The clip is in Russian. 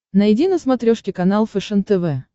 найди на смотрешке канал фэшен тв